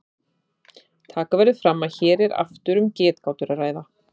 Taka verður fram að hér er aftur um getgátur að ræða.